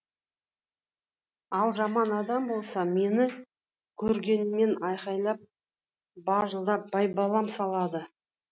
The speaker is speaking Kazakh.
ал жаман адам болса мені көргеннен айқайлап бажылдап байбалам салады